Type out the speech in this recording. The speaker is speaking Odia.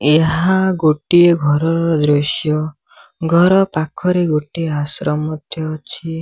ଏହା ଗୋଟିଏ ଘରର ଦୃଶ୍ୟ। ଘର ପାଖରେ ଗୋଟେ ଆଶ୍ରମ ମଧ୍ୟ ଅଛି।